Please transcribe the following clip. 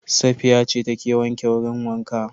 Safiya ce ta ke wanke wurin wanka